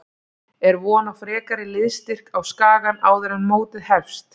Er von á frekari liðsstyrk á Skagann áður en mótið hefst?